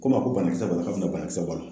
Ko n ma ko banakisɛ kɔni k'a bi na banakisɛ bɔ a la